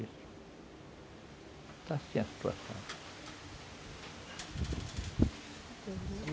Está assim a situação.